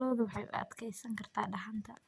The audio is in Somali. Ladu waxay u adkeysan kartaa dhaxanta.